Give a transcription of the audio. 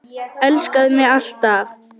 Elskaðu mig alt af.